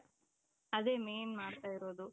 ಅದೇ main ಮಾಡ್ತಾಯಿರೋದು